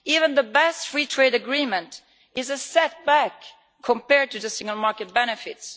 Even the best free trade agreement is a setback compared to single market benefits.